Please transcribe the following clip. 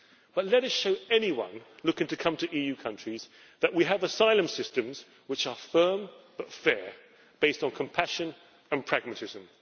But let us show anyone looking to come to EU countries that we have asylum systems which are firm but fair, based on compassion and pragmatism.